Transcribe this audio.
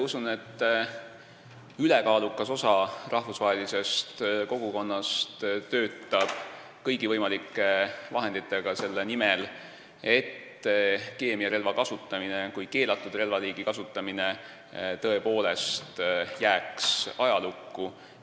Usun, et ülekaalukas osa rahvusvahelisest kogukonnast töötab kõigi võimalike vahenditega selle nimel, et keemiarelva kui keelatud relvaliigi kasutamine jääks tõepoolest ajalukku.